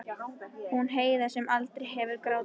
Hún Heiða sem aldrei hafði grátið.